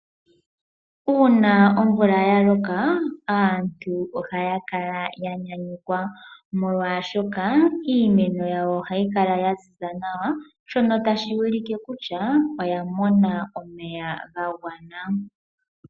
Uuna ommvula yaloka, aantu ohaya kala ya nyanyukwa, molwaashoka iimeno yawo ohayi kala ya ziza nawa , shono tashi ulike kutya oyamona omeya ga gwana.